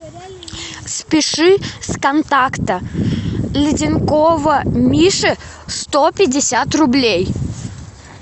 спиши с контакта ледянкова миши сто пятьдесят рублей